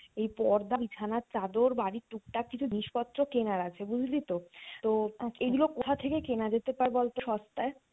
এই পর্দা বিছানার চাদর বাড়ির টুক টাক কিছু জিনিস পত্র কেনার আছে বুঝলি তো, তো এগুলো কোথা থেকে কেনা যেতে পারে বল তো সস্তায়?